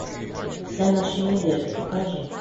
вся наша надежда покажи